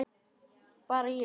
Bara ég.